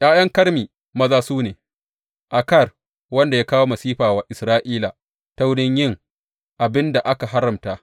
’Ya’yan Karmi maza su ne, Akar wanda ya kawo masifa wa Isra’ila ta wurin yin abin da aka haramta.